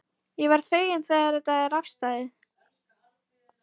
Ég verð feginn þegar þetta er afstaðið.